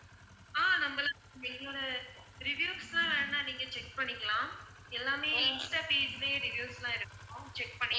ஆஹ் நம்பலாம் எங்களோட reviews லாம் வேணும்னா நீங்க check பண்ணிக்கலாம் எல்லாமே insta page லயே reviews லாம் இருக்கும் check பண்ணி~